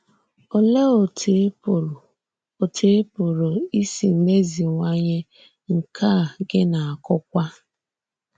Olèé òtú ì pụrụ òtú ì pụrụ ísì mèzìwànye nkà gị n’ákùkwà a?